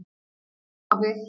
Þó hafi